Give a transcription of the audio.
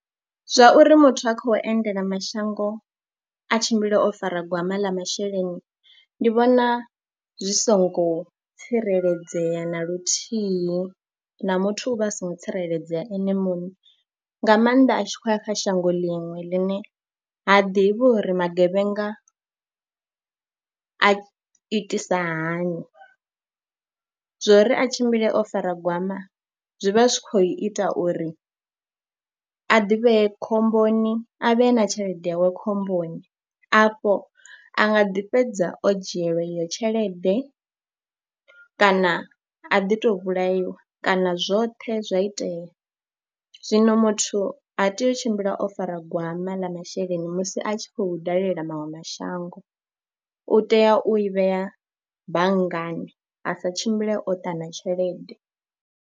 Zwa uri muthu a khou endela mashango a tshimbile o fara gwama ḽa masheleni ndi vhona zwi songo tsireledzea na luthihi na muthu u vha a songo tsireledzea ene muṋe, nga maanḓa a tshi khou ya kha shango ḽiṅwe ḽine ha ḓivhi uri magevhenga a itisa hani. Zwo ri a tshimbile o fara gwama zwi vha zwi khou ita uri a ḓivhee khomboni a vhe na tshelede yawe khomboni. Afho a nga ḓi fhedza o dzhielwa iyo tshelede kana a ḓi tou vhulaiwa kana zwoṱhe zwa itea. Zwino muthu ha tei u tshimbila o fara gwama ḽa masheleni musi a tshi khou dalela maṅwe mashango, u tea u i vhea banngani a sa tshimbile o ṱana tshelede.